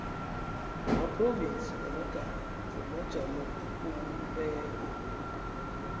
wamaphrovinsi wamagama wamajamobumbeko